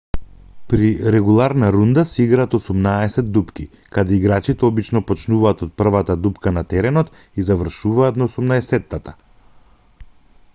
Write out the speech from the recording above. при регуларна рунда се играат осумнаесет дупки каде играчите обично почнуваат од првата дупка на теренот и завршуваат на осумнаесеттата